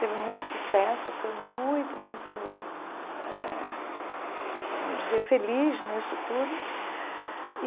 Teve muito sucesso, foi muito, muito, eh vamos dizer, feliz nisso tudo e.